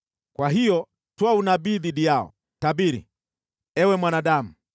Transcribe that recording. Kwa hiyo toa unabii dhidi yao, tabiri, Ewe mwanadamu.”